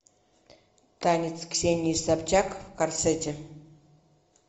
танец ксении собчак в корсете